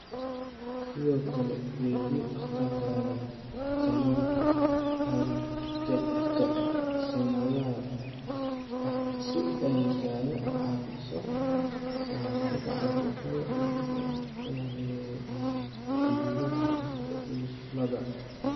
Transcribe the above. Sidoo kale, weydii dhakhtarkaaga tallaalka hargabka sannadlaha ah si ay kaaga caawiso ka hortagga caabuqyada dhegta ee la xidhiidha ifilada.